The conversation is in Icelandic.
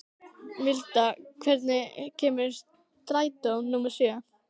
Milda, hvenær kemur strætó númer sjö?